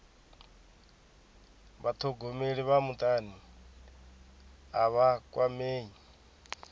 vhathogomeli vha mutani a vha kwamei